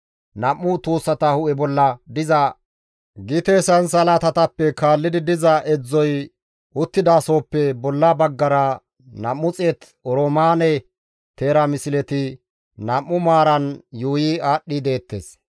Nam7u tuussata hu7e bolla diza gite sansalatatappe kaallidi diza edzdzoy uttidasohoppe bolla baggara 200 oroomaane teera misleti nam7u maaran yuuyi aadhdhi deettes.